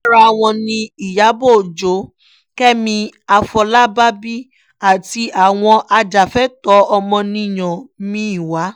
lára wọn ni ìyàbọ̀ ọjọ́ kẹ́mi àfọlábàbí àti àwọn ajàfẹ́tọ̀ọ́ ọmọnìyàn mi-ín wà